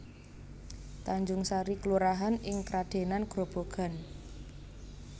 Tanjungsari kelurahan ing Kradenan Grobogan